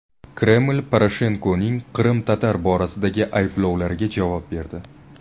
Kreml Poroshenkoning qrim-tatarlar borasidagi ayblovlariga javob berdi.